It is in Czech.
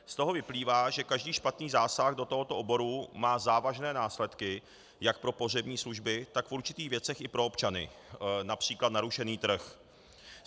Z toho vyplývá, že každý špatný zásah do tohoto oboru má závažné následky jak pro pohřební služby, tak v určitých věcech i pro občany, například narušený trh.